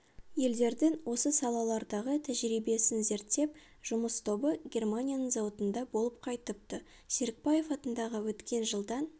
елдердің осы салалардағы тәжірибесін зерттеп жұмыс тобы германияның зауытында болып қайтыпты серікбаев атындағы өткен жылдан